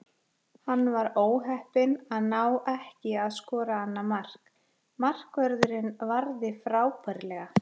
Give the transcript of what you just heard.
Hann var óheppinn að ná ekki að skora annað mark, markvörðurinn varði frábærlega.